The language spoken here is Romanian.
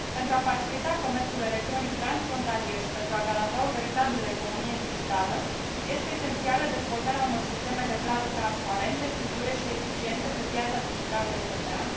Pentru a facilita comerțul electronic transfrontalier și pentru a garanta o veritabilă economie digitală, este esențială dezvoltarea unor sisteme de plată transparente, sigure și eficiente pe piața digitală europeană.